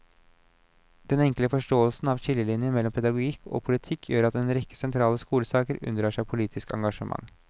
Denne enkle forståelsen av skillelinjene mellom pedagogikk og politikk gjør at en rekke sentrale skolesaker unndrar seg politisk engasjement.